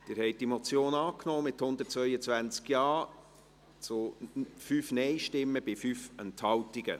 Sie haben diese Motion angenommen, mit 122 Ja- zu 5 Nein-Stimmen bei 5 Enthaltungen.